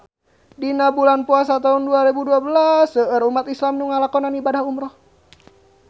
Dina bulan Puasa taun dua rebu dua belas seueur umat islam nu ngalakonan ibadah umrah